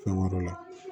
Fɛn wɛrɛ la